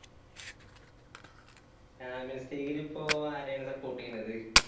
champions league ലിപ്പോ ആരെ ആണ് support ചെയ്യുന്നത്?